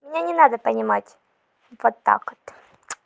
мне не надо понимать вот так вот